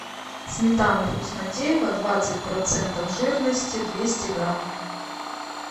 сметана вкуснотеево двадцать процентов жирности двести грамм